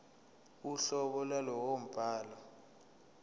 uhlobo lwalowo mbhalo